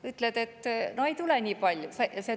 Ütled, et no ei tule nii palju.